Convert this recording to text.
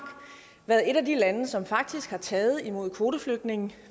været et af de lande som faktisk har taget imod kvoteflygtninge